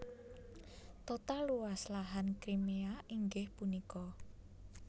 Total luas lahan Crimea inggih punika